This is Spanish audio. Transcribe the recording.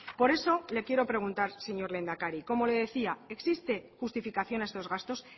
por eso le quiero preguntar señor lehendakari como le decía existe justificación a estos gastos